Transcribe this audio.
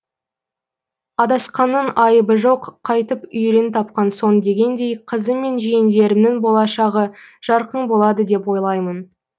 адасқанның айыбы жоқ қайтіп үйірін тапқан соң дегендей қызым мен жиендерімнің болашағы жарқын болады деп ойлаймын